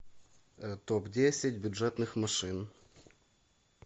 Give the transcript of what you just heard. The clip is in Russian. топ десять бюджетных машин